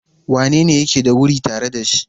Wanene yake da wuri tare da shi?